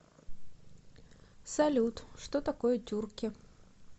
салют что такое тюрки